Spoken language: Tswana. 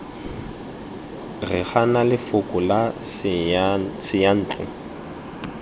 re gana lefoko la seyantlo